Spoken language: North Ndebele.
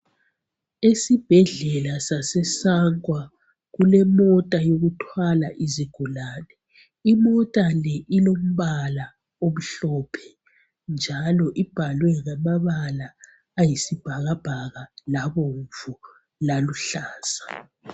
Esibhedlela sase "Sangwa" kulemota ethwala izigulane. Imota le ilombala omhlophe njalo ibhalwe ngamabala ayisibhakabhaka ,labomvu laluhlaza.